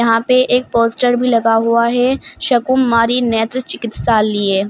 वहां पे एक पोस्टर भी लगा हुआ है शाकुंभरी नेत्र चिकित्सालिए ।